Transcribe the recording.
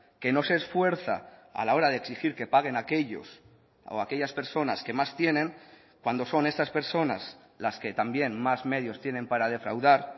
que no se esfuerza a la hora de exigir que paguen aquellos o aquellas personas que más tienen cuando son estas personas las que también más medios tienen para defraudar